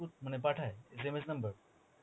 মানে পাঠায় initail SMS number